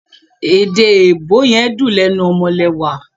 Èèdè èèbó yen dún lénu omolewà.